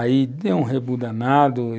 Aí, deu um rebu danado e...